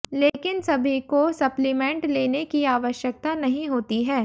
लेकिन सभी को सप्लीमेंट लेने की आवश्यकता नहीं होती है